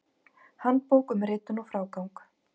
Handbók um ritun og frágang.